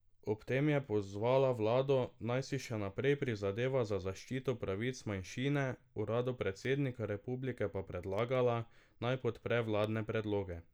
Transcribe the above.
Ob tem je pozvala vlado, naj si še naprej prizadeva za zaščito pravic manjšine, uradu predsednika republike pa predlagala, naj podpre vladne predloge.